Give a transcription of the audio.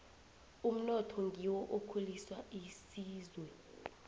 umnotho ngiwo okhulisa isizwe